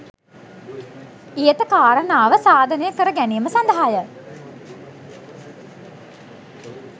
ඉහත කාරණාව සාධනය කර ගැනීම සදහාය.